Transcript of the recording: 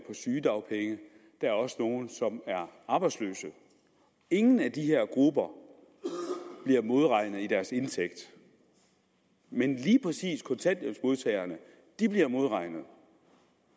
sygedagpenge der er også nogle som er arbejdsløse ingen af de her grupper bliver modregnet i deres indtægt men lige præcis kontanthjælpsmodtagerne bliver modregnet